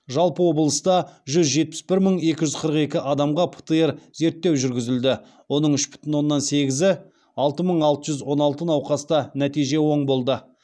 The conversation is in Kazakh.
жалпы облыста жүз жетпіс бір мың екі жүз қырық екі адамға птр зерттеу жүргізілді оның үш бүтін оннан сегізі алты мың алты жүз он алты науқаста нәтиже оң болды